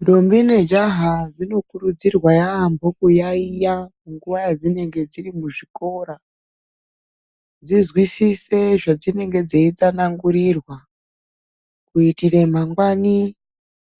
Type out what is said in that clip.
Ndombi nejaha dzinokurudzirwa yaamho kuyaiya nguva yadzinenge dziri muzvikora dzizwisise zvedzinenge dzeitsanangurirwa, kuitire mangwani